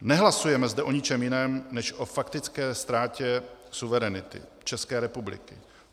Nehlasujeme zde o ničem jiném než o faktické ztrátě suverenity České republiky.